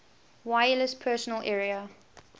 wireless personal area